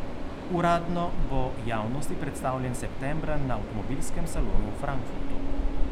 Uradno bo javnosti predstavljen septembra na avtomobilskem salonu v Frankfurtu.